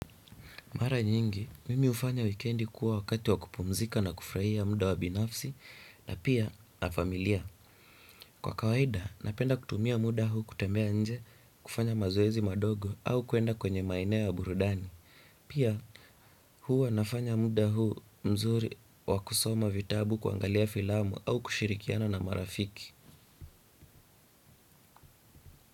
Mara nyingi, mimi hufanya wikendi kuwa wakati wakupumzika na kufurahia muda wa binafsi na pia na familia. Kwa kawaida, napenda kutumia muda huu kutembea nje kufanya mazoezi madogo au kuenda kwenye maeneo ya burudani. Pia huwa wanafanya muda huu mzuri wakusoma vitabu kuangalia filamu au kushirikiana na marafiki.